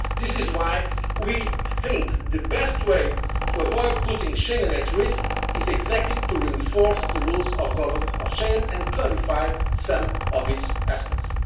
in this area. This is why we think the best way to avoid putting Schengen at risk is precisely to reinforce the rules of governance of Schengen and clarify some of